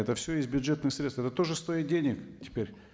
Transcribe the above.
это все из бюджетных средств это тоже стоит денег теперь